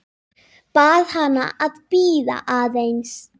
Bað hana að bíða aðeins.